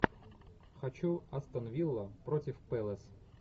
хочу астон вилла против пэлас